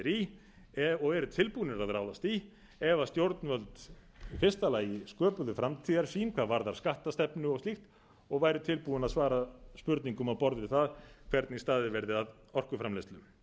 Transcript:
í og eru tilbúnir að ráðast í ef stjórnvöld í fyrsta lagi sköpuðu framtíðarsýn hvað varðar skattastefnu og slík og væru tilbúin að svara spurningum á borð við það hvernig staðið verði að orkuframleiðslu